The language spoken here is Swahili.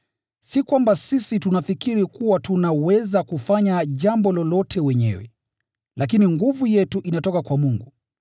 Si kwamba sisi tunafikiri kuwa tunaweza kufanya jambo lolote wenyewe, lakini nguvu yetu inatoka kwa Mungu.